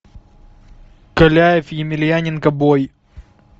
каляев емельяненко бой